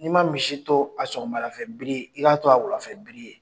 N'i ma misi to a sɔgɔma lafɛ bile ye, i k'a to a wulafɛ bile ye.